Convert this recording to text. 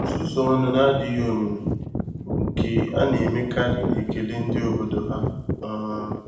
nsusu ọnụ na-adịghị omimi, bụ́ nke a na-emekarị n'ekele ndị obodo ha. um